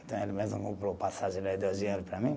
Então, ele mesmo comprou passagem de para mim.